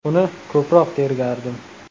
Uni ko‘proq tergardim.